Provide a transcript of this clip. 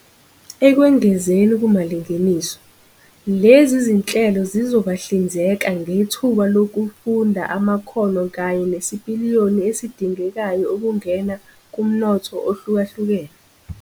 Ekwengezeni kumalingeniso, lezi zinhlelo zizobahlinzeka ngethuba lokufunda amakhono kanye nesipiliyoni esidingekayo ukungena kumnotho ohlukahlukene.